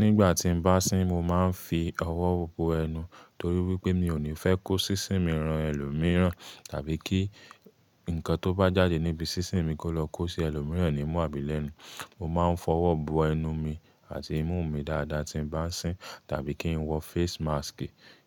Nígbà tí n bá sín mo máa ń fi ọwọ́ bo ẹnu torí wípé mi ò ní fẹ́ kó sísín mi ran ẹlòmíràn tàbí kí ǹkan tó bá jáde níbi sísín mi kó lọ kó sí ẹlòmíràn nímú àbílẹ́nu. Mo máa ń fọwọ́ bo ẹnu mi àti imú mi dáadáa tí n bá sín tàbí kí n wọ face mask